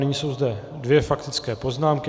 Nyní jsou zde dvě faktické poznámky.